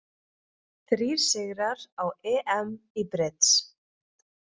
Þrír sigrar á EM í brids